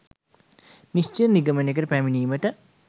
නිශ්චිත නිගමනයකට පැමිණීමට